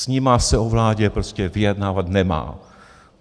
S nimi se o vládě prostě vyjednávat nemá.